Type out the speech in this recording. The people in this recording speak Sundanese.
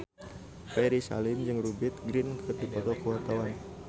Ferry Salim jeung Rupert Grin keur dipoto ku wartawan